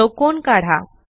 चौकोन काढा